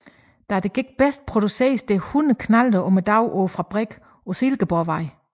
Da det gik bedst produceredes 100 knallerter om dagen på fabrikken på Silkeborgvej